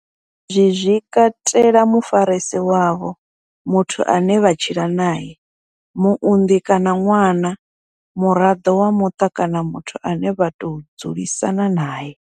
Izwi zwi katela mufarisi wavho, muthu ane vha tshila nae, muunḓi kana ṅwana, muraḓo wa muṱa kana muthu ane vha tou dzulisana nae.